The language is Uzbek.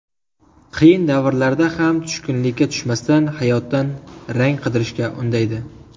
Qiyin davrlarda ham tushkunlikka tushmasdan hayotdan rang qidirishga undaydi.